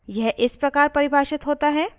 यह इस प्रकार परिभाषित होता है: